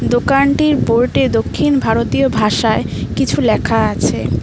দোকানটির বোর্ডে দক্ষিণ ভারতীয় ভাষায় কিছু লেখা আছে।